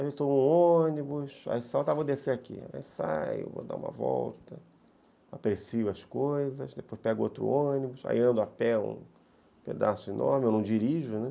Aí eu estou no ônibus, aí solta, vou descer aqui, aí saio, vou dar uma volta, aprecio as coisas, depois pego outro ônibus, aí ando a pé um pedaço enorme, eu não dirijo, né?